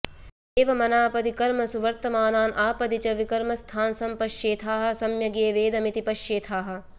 एवमनापदि कर्मसु वर्तमानान् आपदि च विकर्मस्थान् संपश्येथाः सम्यगेवेदमिति पश्येथाः